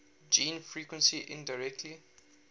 gene frequency indirectly